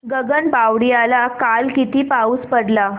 गगनबावड्याला काल किती पाऊस पडला